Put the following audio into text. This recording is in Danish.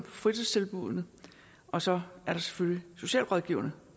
fritidstilbuddene og så er der selvfølgelig socialrådgiverne